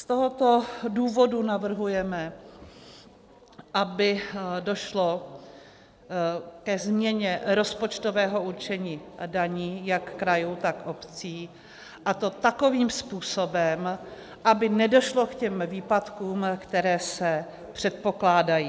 Z tohoto důvodu navrhujeme, aby došlo ke změně rozpočtového určení daní jak krajů, tak obcí, a to takovým způsobem, aby nedošlo k těm výpadkům, které se předpokládají.